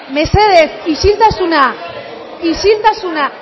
mesedez isiltasuna isiltasuna